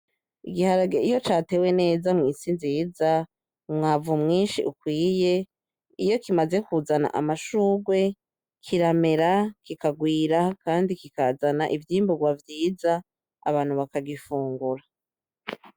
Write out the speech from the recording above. Igiharage iyo catewe neza mw'isi nziza umwavu mwinshi ukwiye iyo kimaze kuzana amashurwe kiramera kikagwira kandi kikazana ivyimburwa vyiza abantu bakagifungura.